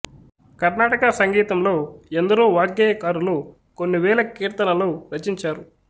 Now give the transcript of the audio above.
కర్ణాటక సంగీతంలో ఎందరో వాగ్గేయకారులు కొన్ని వేల కీర్తనలు రచించారు